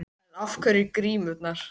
En af hverju grímurnar?